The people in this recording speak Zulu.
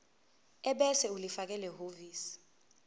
ebese ulifakela ehhovisi